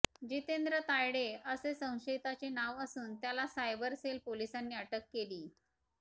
जितेंद्र तायडे असे संशियताचे नाव असून त्याला सायबर सेल पोलिसांनी अटक केलीय